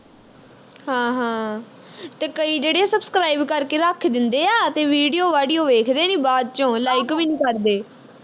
ਹਾਂ ਹਾਂ ਤੇ ਕਈ ਜਿਹੜੇ subscribe ਕਰਕੇ ਰੱਖ ਦਿੰਦੇ ਆ ਤੇ video ਵਾਡੀਓ ਵੇਖਦੇ ਨਹੀਂ ਬਾਅਦ ਵਿਚੋਂ like ਵੀ ਨੀਂ ਕਰਦੇ